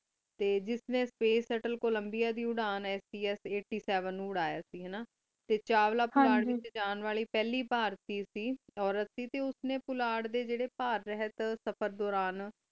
T ਜਸ ਨੀ space ਸਤਲ ਕੋ ਲਾਮ੍ਬਿਆ ਦੀ ਉਰਾਂ ਐਸੀ ਏਇਘ੍ਤ੍ਯ ਸੇਵੇਨ ਨੂ ਉਰਾਯਾ ਕ ਹਨਾ ਟੀ ਚਾਵਲਾ ਪੋਲਟ ਵਿਚ ਚਾਲਾਂ ਵਲੀ ਪਹਲੀ ਬਰਤੀ ਕ ਓਰਤ ਕ ਟੀ ਉਸ ਨੀ ਪੋਲਟ ਡੀ ਜੇਰੀ ਪਾਰੇਯ੍ਹਤ ਸਫ਼ਰ ਦੋਰਾਨ